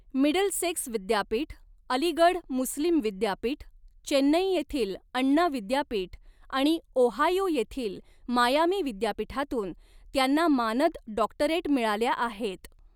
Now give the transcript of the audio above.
Middlesex विद्यापीठ, अलीगढ मुस्लीम विद्यापीठ, चेन्नई येथील अण्णा विद्यापीठ आणि ओहायो येथील मायामी विद्यापीठातून त्यांना मानद डॉक्टरेट मिळाल्या आहेत.